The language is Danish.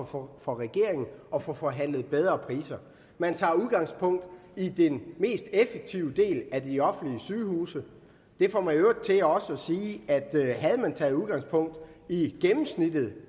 for for regeringen at få forhandlet bedre priser man tager udgangspunkt i den mest effektive del af de offentlige sygehuse det får mig i øvrigt også til at sige at havde man taget udgangspunkt i gennemsnittet